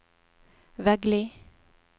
Veggli